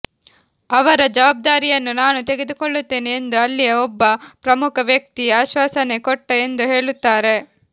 ಅವರ ಜವಾಬ್ದಾರಿಯನ್ನು ನಾನು ತೆಗೆದುಕೊಳ್ಳುತ್ತೇನೆ ಎಂದು ಅಲ್ಲಿಯ ಒಬ್ಬ ಪ್ರಮುಖ ವ್ಯಕ್ತಿ ಆಶ್ವಾಸನೆ ಕೊಟ್ಟ ಎಂದು ಹೇಳುತ್ತಾರೆ